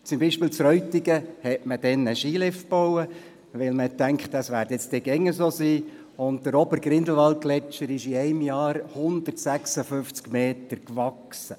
In Reutigen zum Beispiel hatte man einen Skilift gebaut, weil man dachte, es werde wohl immer so sein, und der obere Grindelwaldgletscher wuchs in einem einzigen Jahr um 156 Meter.